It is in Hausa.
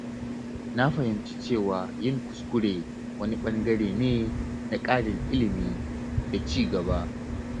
Na fahimci cewa yin kuskure wani ɓangare ne na ƙarin ilimi da ci gaba.